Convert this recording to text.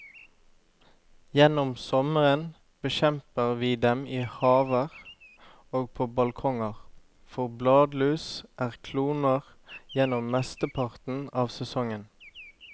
Gjennom sommeren bekjemper vi dem i haver og på balkonger, for bladlus er kloner gjennom mesteparten av sesongen.